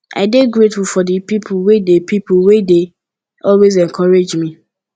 i dey grateful for di people wey dey people wey dey always encourage me